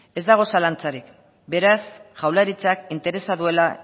ez dago zalantzarik beraz jaurlaritzak interesa duela